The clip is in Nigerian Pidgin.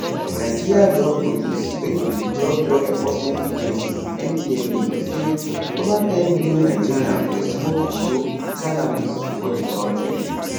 nigeria drug police wey be di drug law enforcement agency ndlea say over ten million nigerians dey smoke igbo cannabis for di kontri